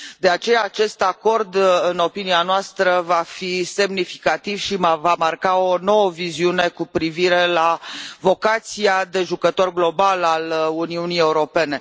De aceea acest acord, în opinia noastră, va fi semnificativ și va marca o nouă viziune cu privire la vocația de jucător global a Uniunii Europene.